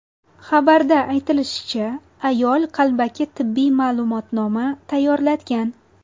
Xabarda aytilishicha, ayol qalbaki tibbiy ma’lumotnoma tayyorlatgan.